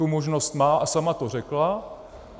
Tu možnost má a sama to řekla.